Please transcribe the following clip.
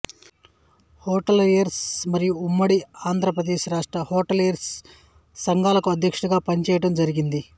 hoteliers మరియు ఉమ్మడి ఆంధ్రప్రదేశ్ రాష్ట్ర హోటలియర్స్ సంఘాలకు అధ్యక్షుడిగా పనిచేయడం జరిగింది